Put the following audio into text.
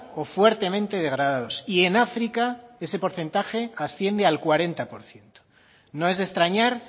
o fuertemente degradados y en áfrica ese porcentaje asciende al cuarenta por ciento no es de extrañar